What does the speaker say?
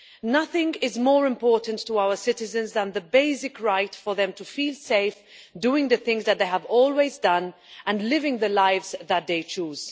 Nothing is more important to our citizens than the basic right for them to feel safe doing the things that they have always done and living the lives that they choose.